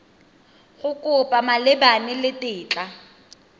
a kopo malebana le tetla